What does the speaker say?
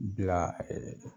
Bila